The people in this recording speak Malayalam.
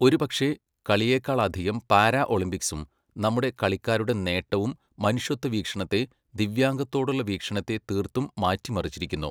ഒരു പക്ഷേ, കളിയെക്കാളധികം പാരാഒളിമ്പിക്സും നമ്മുടെ കളിക്കാരുടെ നേട്ടവും മനുഷ്യത്ത്വവീക്ഷണത്തെ, ദിവ്യാംഗത്തോടുള്ള വീക്ഷണത്തെ തീർത്തും മാറ്റിമറിച്ചിരിക്കുന്നു.